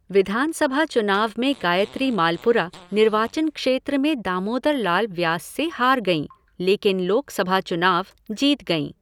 विधानसभा चुनाव में गायत्री मालपुरा निर्वाचन क्षेत्र में दामोदर लाल व्यास से हार गईं, लेकिन लोकसभा चुनाव जीत गईं।